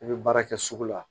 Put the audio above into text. I bɛ baara kɛ sugu la